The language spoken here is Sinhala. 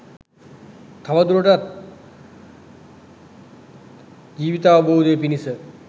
තවදුරටත් ජීවිතාවබෝධය පිණිස